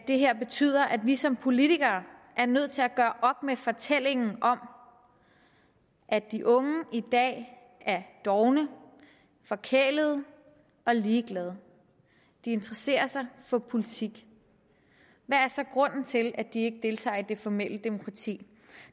det her betyder at vi som politikere er nødt til at gøre op med fortællingen om at de unge i dag er dovne forkælede og ligeglade de interesserer sig for politik hvad er så grunden til at de ikke deltager i det formelle demokrati